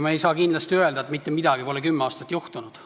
Me ei saa kindlasti öelda, et kümme aastat pole mitte midagi juhtunud.